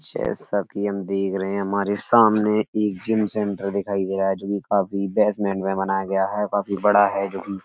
जैसा की हम देख रहे हैं। हमारे सामने एक जिम सेंटर दिखाई दे रहा है जो की काफी बेसमेंट में बनाया गया है काफी बड़ा है जो की --